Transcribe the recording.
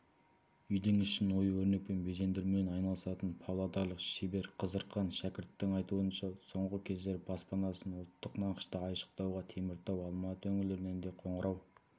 үйдің ішін ою-өрнекпен безендірумен айналысатын павлодарлық шебер қызырхан шәкірттің айтуынша соңғы кездері баспанасын ұлттық нақышта айшықтауға теміртау алматы өңірлерінен де қоңырау